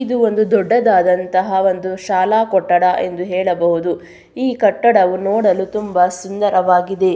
ಇದು ಒಂದು ದೊಡ್ಡದಾದಂತಹ ಒಂದು ಶಾಲಾ ಕೊಠಡ ಎಂದು ಹೇಳಬಹುದು ಈ ಕಟ್ಟಡವು ನೋಡಲು ತುಂಬಾ ಸುಂದರವಾಗಿದೆ.